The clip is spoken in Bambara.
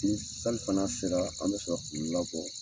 Ni salifana sera an bɛ sɔrɔ k'u labɔ.